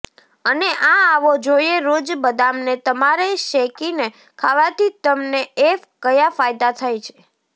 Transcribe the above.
અને આ આવો જોઇએ રોજ બદામને તમારે શેકીને ખાવાથી તમને એ કયા ફાયદા થાય છે